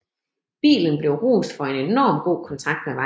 Bilen blev rost for en enorm god kontakt med vejen